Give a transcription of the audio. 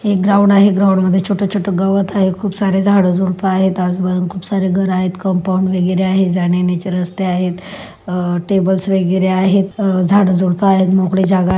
एक ग्राउंड आहे ग्राउंड मध्ये छोट छोट गवत आहे खूप सारे झाड झुडप आहेत आजुबाजू खूप सारे घर आहेत कंपाउंड वगैरे आहे जानेयेण्याचे रस्ते आहेत अह टेबल्स वगैरे आहेत झाड झुडप आहे मोकळी जागा --